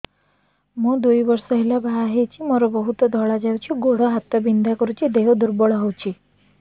ମୁ ଦୁଇ ବର୍ଷ ହେଲା ବାହା ହେଇଛି ମୋର ବହୁତ ଧଳା ଯାଉଛି ଗୋଡ଼ ହାତ ବିନ୍ଧା କରୁଛି ଦେହ ଦୁର୍ବଳ ହଉଛି